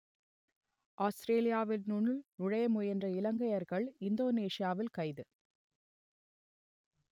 ஆஸ்த்திரேலியாவினுள் நுழைய முயன்ற இலங்கையர்கள் இந்தோனேசியாவில் கைது